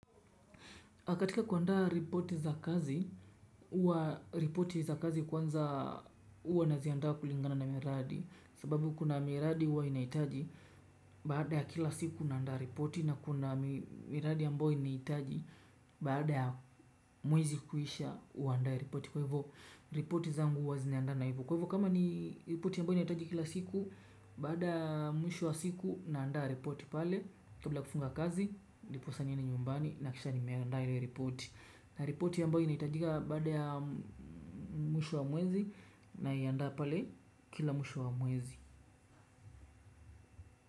Katika kuandaa ripoti za kazi, huwa ripoti za kazi kwanza huwa naziandaa kulingana na miradi. Sababu kuna miradi huwa inahitaji, baada ya kila siku unaandaa ripoti na kuna miradi ambayo inahitaji baada ya mwezi kuisha uandae ripoti. Kwa hivo, ripoti zangu huwa zina hivo. Kwa hivo, kama ni ripoti ambayo inahitaji kila siku, baada ya mwisho wa siku naanda ripoti pale kabla kufunga kazi, ndiposa niende nyumbani nahakikisha nimeandaa ile ripoti na ripoti ambayo inahitajika baada ya mwisho wa mwezi naianda pale kila mwisho wa mwezi.